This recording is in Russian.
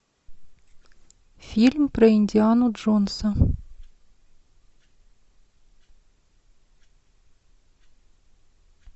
фильм про индиану джонса